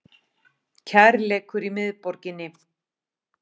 Kærleikur í miðborginni